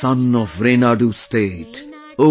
The Sun of Renadu State,